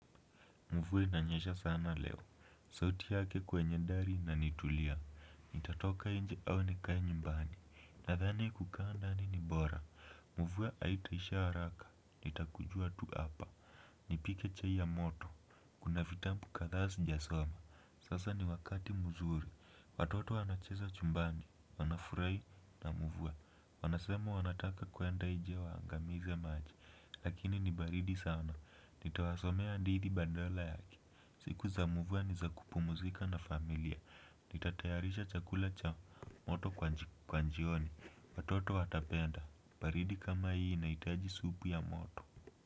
Mvua inanyesha sana leo. Sauti yake kwenye dari na nitulia. Nitatoka nje au nikae nyumbani. Nadhani kukaa ndani ni bora. Mvua haitaisha haraka. Nitakujua tu apa. Nipike chai ya moto. Kuna vitabu kadhaa sijasoma. Sasa ni wakati mzuri. Watoto wanacheza chumbani. Wanafurahi na mvua. Wanasema wanataka kwenda nje waangamize maji. Lakini ni baridi sana. Nitawasomea hadithi badala yake. Siku za mvua ni za kupumzika na familia. Nitatayarisha chakula cha moto kwa njioni. Watoto watapenda. Baridi kama hii inahitaji supu ya moto.